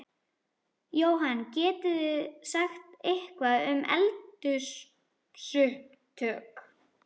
Jóhann: Getið þið sagt eitthvað um eldsupptök?